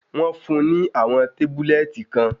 Wọ́n fún-un ní àwọn tábúlẹ́ẹ̀tì kan.